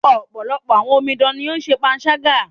Ọ̀pọ̀lọpọ̀ àwọn omidan ní o ń ṣe panṣágà.